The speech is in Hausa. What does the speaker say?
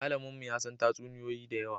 Malaminmu ya san tatsuniyoyi da yawa